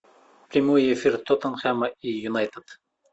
прямой эфир тоттенхэма и юнайтед